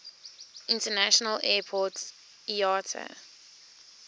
international airport iata